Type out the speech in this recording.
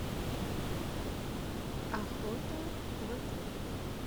охота в отеле